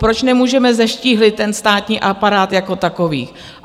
Proč nemůžeme zeštíhlit ten státní aparát jako takový?